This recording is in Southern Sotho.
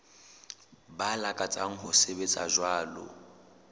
ba lakatsang ho sebetsa jwalo